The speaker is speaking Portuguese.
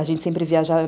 A gente sempre viaja